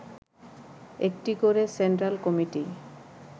একটি করে central committee